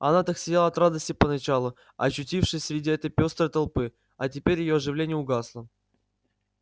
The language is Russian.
она так сияла от радости поначалу очутившись среди этой пёстрой толпы а теперь её оживление угасло